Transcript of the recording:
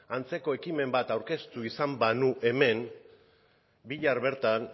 antzeko ekimen bat aurkeztu izan banu hemen bihar bertan